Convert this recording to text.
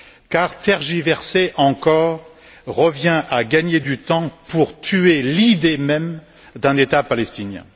Car tergiverser encore revient à gagner du temps pour tuer l'idée même d'un État palestinien.